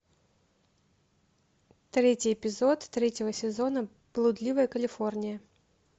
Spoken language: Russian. третий эпизод третьего сезона блудливая калифорния